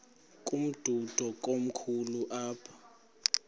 umdudo komkhulu apha